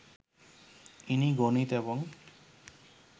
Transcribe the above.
ইনি গণিত এবং